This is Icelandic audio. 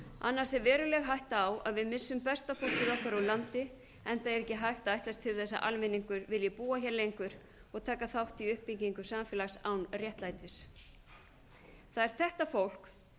annars er veruleg hætta á að við missum besta fólkið okkar úr landi enda er ekki hægt að ætlast til þess að almenningur vilji búa hér lengur og taka þátt í uppbyggingu samfélags án réttlætis það er þetta fólk